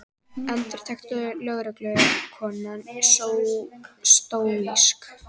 endurtekur lögreglukonan stóísk.